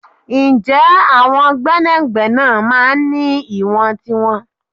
Ǹjẹ́ àwọn gbẹ́nàgbẹ́nà máa ń ní ìwọ̀n tiwọn?